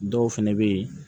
Dɔw fɛnɛ bɛ ye